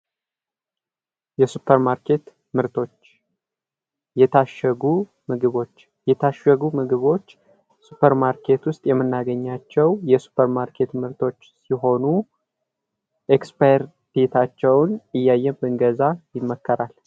የሱፐርማርኬት ምርቶች ፦ የታሸጉ ምግቦች፦ የታሸጉ ምግቦች ሱፐር ማርኬት ውስጥ የሚናገኛቸው የሱፐር ማርኬት ምርቶች ሲሆኑ " ኤክስፓየርዴታቸውን " እያየን ብንገዛ ይመከራል ።